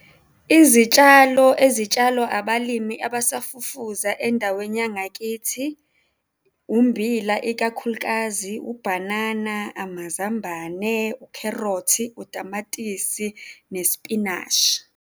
Izitshalo ezitshalwa abalimi abasafufusa endaweni yangakithi ummbila, ikakhulukazi ubhanana, amazambane, ukherothi, utamatisi nesipinashi.